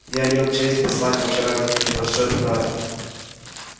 я имел честь послать вам вчера небольшой подарок